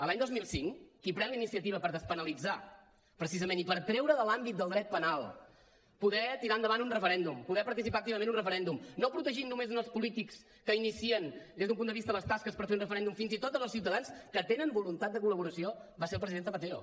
l’any dos mil cinc qui pren la iniciativa per despenalitzar precisament i per treure de l’àmbit del dret penal poder tirar endavant un referèndum poder participar activament en un referèndum no protegint només els polítics que inicien des d’un punt de vista les tasques per fer un referèndum fins i tot els ciutadans que tenen voluntat de col·laboració va ser el president zapatero